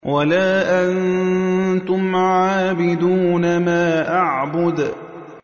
وَلَا أَنتُمْ عَابِدُونَ مَا أَعْبُدُ